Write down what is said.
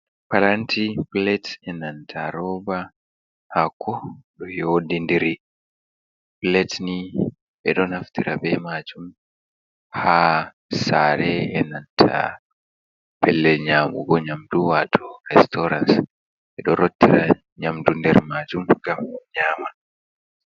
Paranti pilet enanta roba hako ɗo yodi ndiri. Piletni ɓeɗo naftira bee majum ha sare, enanta pellel nyamugo nyamdu wato reestooran. Ɓeɗo rottira nyamdu nder majum gam nyama.